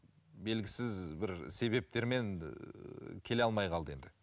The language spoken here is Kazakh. белгісіз бір себептермен ыыы келе алмай қалды енді